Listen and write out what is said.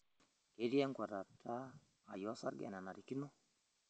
Ketii enkuatata ai osarge enenarikino?